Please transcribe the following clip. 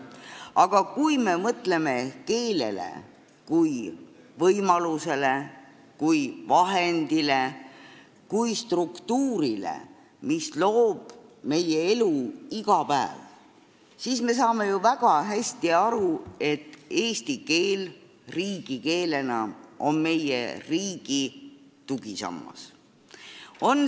–, aga kui me mõtleme keelele kui võimalusele, kui vahendile, kui struktuurile, mis loob meie elu iga päev, siis me saame ju väga hästi aru, et eesti keel riigikeelena on meie riigi tugisammas.